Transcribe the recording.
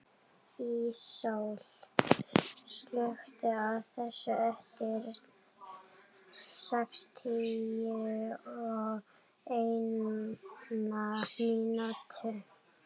Íssól, slökktu á þessu eftir sextíu og eina mínútur.